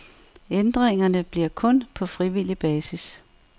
Ændringerne bliver kun på frivillig basis.